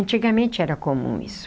Antigamente era comum isso.